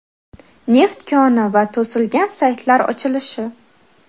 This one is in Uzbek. neft koni va to‘silgan saytlar ochilishi.